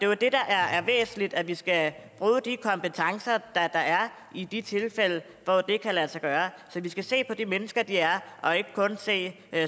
jo det der er væsentligt altså at vi skal bruge de kompetencer der er i de tilfælde hvor det kan lade sig gøre så vi skal se på de mennesker de er og ikke kun se